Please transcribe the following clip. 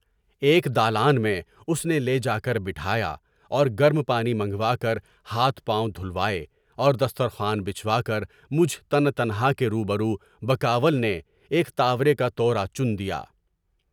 ایک دالان میں اس نے لیے جا کر بٹھایا، اور گرم پانی منگوا کر ہاتھ پاؤں دھلوائے، اور دسترخوان بچھا کر مجھ تن تنہا کے روبرو بیکاول نے ایک طورِ کا تورا چن دیا۔